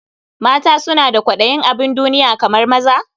Mata suna da kwaɗayin abin duniya kamar maza?